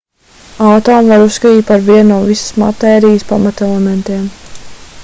atomu var uzskatīt par vienu no visas matērijas pamatelementiem